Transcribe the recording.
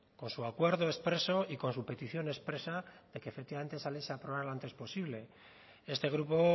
con su acuerdo expreso y con su petición expresa de que efectivamente esa ley se aprobara lo antes posible este grupo